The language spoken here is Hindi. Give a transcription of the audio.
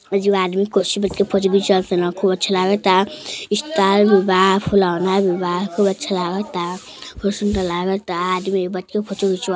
ये आदमी कुर्सी पर बैठ के फोटो खिचवाता। खूब अच्छा लगता। स्टार भी बा। फुलौना भी बा। खूब अच्छा लगता। खूब सुंदर लगता। आदमी बच्चों फोटो ढीचवा --